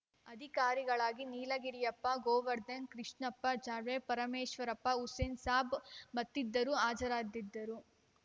ಅಧಿಕಾರಿಗಳಾಗಿ ನೀಲಗಿರಿಯಪ್ಪ ಗೋವರ್ಧನ್‌ ಕೃಷ್ಣಪ್ಪ ಜಾಡರ್‌ ಪರಮೇಶ್ವರಪ್ಪ ಹುಸೇನ್‌ಸಾಬ್‌ ಮತ್ತಿದರು ಹಾಜರದಿದ್ದರು